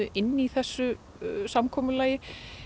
inni í þessu samkomulagi